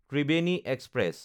Triveni express